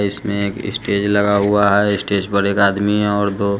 इसमे एक स्टेज लगा हुआ है स्टेज पर एक आदमी और दो--